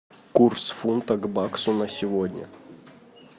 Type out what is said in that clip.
курс фунта к баксу на сегодня